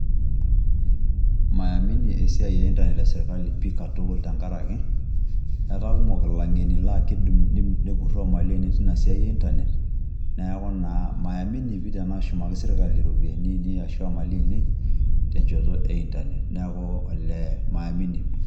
Maiamini esiai e internet e sirkali pii katukul tenkaraki etaa kumok ilang'eni laa kiidim nepurroo imali ainei tina siai e internet neeku naa maiamini pii tenaashumaki sirkali iropiyiani ainei arashu imali ainei tencoto e internet, neeku elee maimini pii.